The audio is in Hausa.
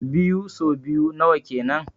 Biyu so biyu nawa kenan?